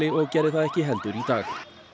og gerði það ekki heldur í dag